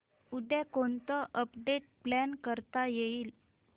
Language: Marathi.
उद्या कोणतं अपडेट प्लॅन करता येईल